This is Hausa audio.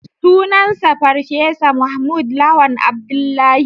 Sunansa Farfesa Mahmud Lawan Abdullahi